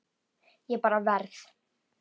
Ég bara verð.